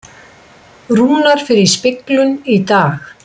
Rúnar fer í speglun í dag